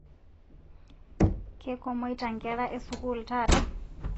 Keikomaita nkera eesukul taata